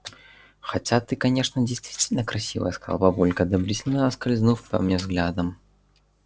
хотя ты конечно действительно красивая сказал папулька одобрительно скользнув по мне взглядом